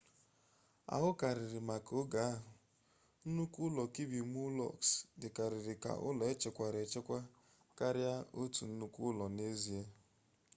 aụkarịrị maka oge ahụ nnukwu ụlọ kirby muxloe dịkarịrị ka ụlọ echekwara echekwa karịa otu nnukwu ụlọ n'ezie